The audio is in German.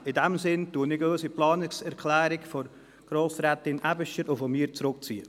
In diesem Sinn ziehe ich die Planungserklärung von Grossrätin Aebischer und von mir zurück.